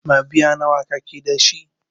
Mabiya nawa kake dashi?